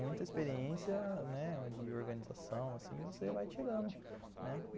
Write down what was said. Muita experiência, né, de organização, assim, você vai tirando, né?